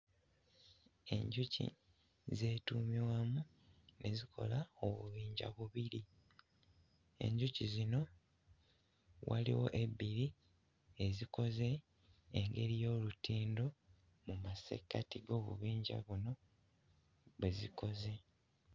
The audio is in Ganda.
Enjuki zeetuumye wamu ne zikola obubinja bubiri. Enjuki zino waliwo ebbiri ezikoze engeri y'olutindo mu masekkati g'obubinja buno bwe zikoze.